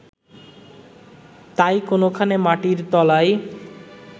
তাই কোনখানে মাটির তলায়